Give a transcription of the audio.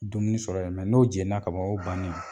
Dumuni sɔrɔ yen nɔ , mɛ n'o jɛnni na ka ban o y'o bannen yee.